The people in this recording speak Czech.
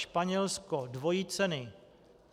Španělsko - dvojí ceny.